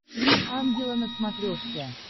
три ангела на смотрешке